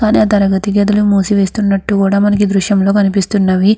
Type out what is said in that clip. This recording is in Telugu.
కానీ ఆ తరగతి గదులు మూసివేస్తున్నట్టు కూడా మనకి ఈ దృశ్యం లో కనిపిస్తున్నవి.